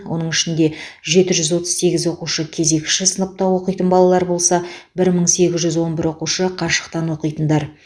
оның ішінде жеті жүз отыз сегіз оқушы кезекші сыныпта оқитын балалар болса бір мың сегіз жүз он бір оқушы қашықтан оқитындар